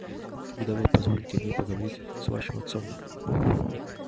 когда вы позволите мне поговорить с вашим отцом